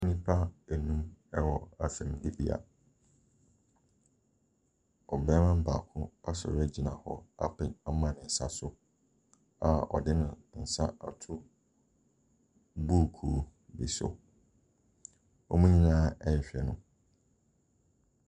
Nnipa beenum ɛwɔ asɛnnibea. Ɔbarima baako asɔre agyina hɔ apa ama ne nsa so a ɔde ne baako ato buukuu bi so. Wɔn nyinaa ɛrehwɛ no.